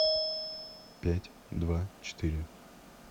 пять два четыре